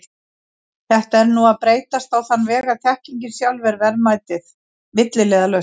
Þetta er nú að breytast á þann veg að þekkingin sjálf er verðmætið, milliliðalaust.